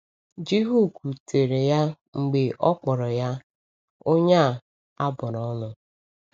Jihu kwutere ya mgbe ọ kpọrọ ya “ onye a a bụrụ ọnụ. ”